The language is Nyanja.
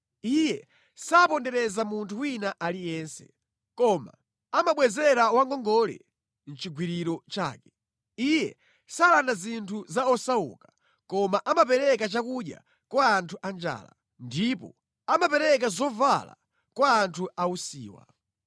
Iye sapondereza munthu wina aliyense, koma amabwezera wangongole nʼchigwiriro chake. Iye salanda zinthu za osauka, koma amapereka chakudya kwa anthu anjala, ndipo amapereka zovala kwa anthu ausiwa.